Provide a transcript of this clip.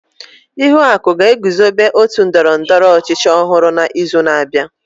Ihuaku ga-eguzobe ótù ndọrọ ndọrọ ọchịchị ọhụrụ n'izu na-abịa.